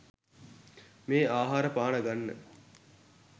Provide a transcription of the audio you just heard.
මේ ආහාර පාන ගන්න